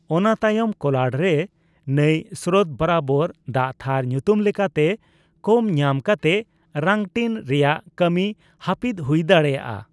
ᱚᱱᱟ ᱛᱟᱭᱚᱢ ᱠᱳᱞᱟᱲ ᱨᱮ ᱱᱟᱹᱭ ᱥᱨᱳᱛᱵᱚᱨᱟᱵᱚᱨ ᱫᱟᱜᱛᱷᱟᱨ ᱧᱩᱛᱩᱢ ᱞᱮᱠᱟᱛᱮ ᱠᱚᱢ ᱧᱟᱢ ᱠᱟᱛᱮᱜ ᱨᱟᱝᱴᱤᱱ ᱨᱮᱭᱟᱜ ᱠᱟᱹᱢᱤ ᱦᱟᱹᱯᱤᱫ ᱦᱩᱭ ᱫᱟᱲᱮᱭᱟᱜ ᱟ ᱾